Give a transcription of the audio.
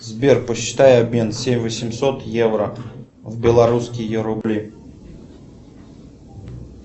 сбер посчитай обмен семь восемьсот евро в белорусские рубли